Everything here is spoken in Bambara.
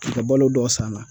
Ka balo dɔ san a la